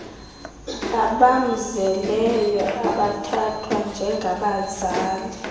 abamzeleyo abathathwa njengabazali